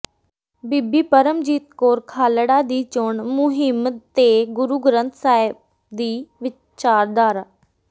ਬੀਬੀ ਪਰਮਜੀਤ ਕੌਰ ਖਾਲੜਾ ਦੀ ਚੋਣ ਮੁਹਿੰਮ ਤੇ ਗੁਰੂ ਗ੍ਰੰਥ ਸਾਹਿਬ ਦੀ ਵਿਚਾਰਧਾਰਾ